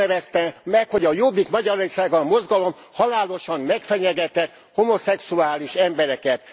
Azt nevezte meg, hogy a Jobbik Magyarországért Mozgalom halálosan megfenyegetett homoszexuális embereket.